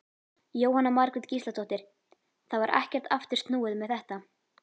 Jóhanna Margrét Gísladóttir: Það var ekkert aftur snúið með þetta?